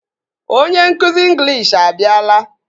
Onye nkụzi ịnglish abịala